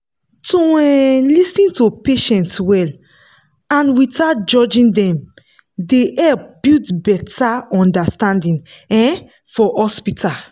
to um lis ten to patients well and without judging dem dey help build better understanding um for hospital.